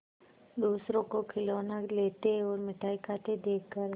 दूसरों को खिलौना लेते और मिठाई खाते देखकर